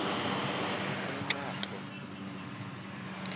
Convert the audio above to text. enxaxho